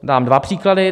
Dám dva příklady.